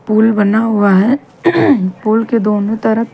पुल बना हुआ है पुल के दोनों तरफ--